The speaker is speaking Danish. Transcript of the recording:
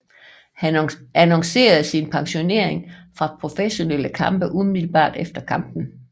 Han annoncerede sin pensionering fra professionelle kampe umiddelbart efter kampen